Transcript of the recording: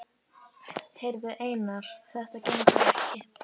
Heyrðu, Einar Már, þetta gengur ekki.